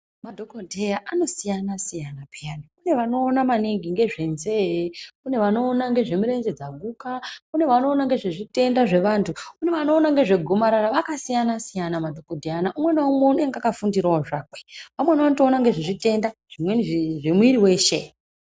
Madhokodheya anosiyana siyana pheyani, kune vanoona maningi ngezvenzee, kune vanoona ngezvemirenje dzaguka, kune vanoona ngezvezvitenda zvevantu, kune vanoona ngezvegomarara. Vakasiyana siyana madhokodheya ano, umwe ngaumwe unenge akafundirawo zviro zvakwe. Amweni atoona ngezvezvitenda zvimweni zvemwiri weshe.